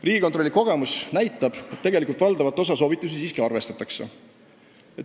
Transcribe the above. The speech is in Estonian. Riigikontrolli kogemus näitab, et tegelikult valdavat osa soovitusi siiski arvestatakse.